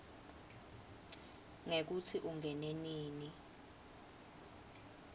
ngekutsi ungene nini